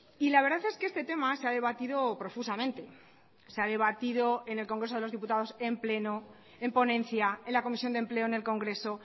y la verdad es que este tema se ha debatido profusamente se ha debatido en el congreso de los diputados en pleno en ponencia en la comisión de empleo en el congreso